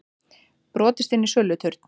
Brotist inn í söluturn